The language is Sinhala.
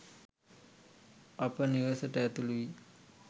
අප නිවසට ඇතුළු වී